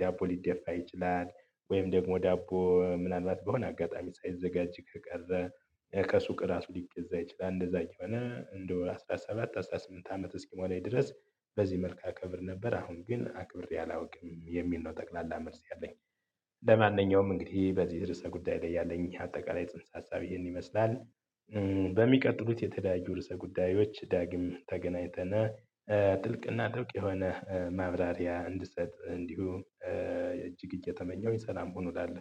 ዳቦ ሊደፋ ይችላል። ወይም ደግሞ ዳቦ ምናልባት በሆነ አጋጣሚ ሳይዘጋጅ ከቀረ ከሱቅ ራሱ ሊገዛ ይችላል። እንደዛ ይሆነ እንደው አስራ ሰባት አስራ ስምንት አመት እስኪሞላኝ ድረስ በዚህ መልክ አከብር ነበር አሁን ግን አክብሬ አላውቅም የሚል ነው። ጠቅላላ መልስ ያለኝ። ለማንኛውም እንግዲህ በዚህ ርዕሰ ጉዳይ ላይ ያለኝ አጠቃላይ ጽንሰ ሀሳብ ይሄን ይመስላል። በሚቀጥሉት የተለያዩ ርዕሰ ጉዳዮች ዳግም ተገናኝተን ጥልቅና ጥብቅ የሆነ ማብራሪያ እንድሰጥ እንዲሁ እጅግ እየተመኘሁኝ ሰላም ሁኑ እላለሁ